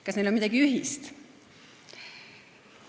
Kas neil on midagi ühist?